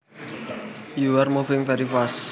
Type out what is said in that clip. you are moving very fast